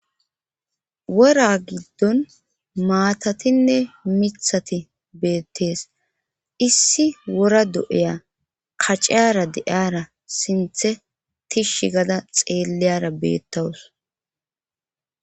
Wora giddon maatatinne mithati beettees issi wora do'eya kacara de'ara sinthe tishsh gada xeelleyara beettawus